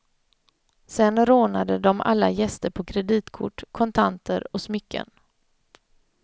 Sen rånade de alla gäster på kreditkort, kontanter och smycken.